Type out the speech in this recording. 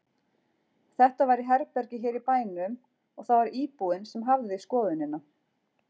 Þetta var í herbergi hér í bænum og það var íbúinn sem hafði skoðunina.